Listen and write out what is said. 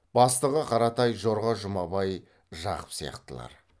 бастығы қаратай жорға жұмабай жақып сияқтылар